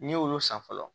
N'i y'olu san fɔlɔ